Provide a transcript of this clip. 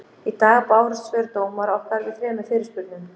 Í dag bárust svör dómara okkar við þremur fyrirspurnum.